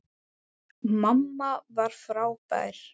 Mamma var frábær.